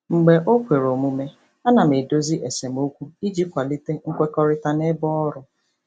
Mgbe o kwere omume, ana m edozi esemokwu iji kwalite nkwekọrịta n'ebe ọrụ.